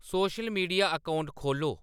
social media account खोह्ल्लो